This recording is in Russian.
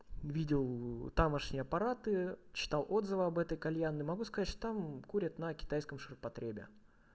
видел тамошнее аппараты читал отзывы об этой кальянной могу сказать что там курят на китайском ширпотребе